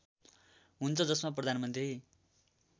हुन्छ जसमा प्रधानमन्त्री